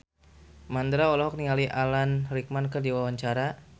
Mandra olohok ningali Alan Rickman keur diwawancara